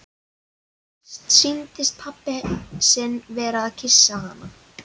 Fyrst sýndist henni pabbi sinn vera að kyssa hana.